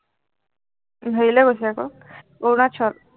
হেৰিলে গৈছে আকৌ, অৰুণাচল